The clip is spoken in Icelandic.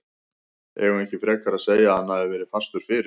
Eigum við ekki frekar að segja að hann hafi verið fastur fyrir?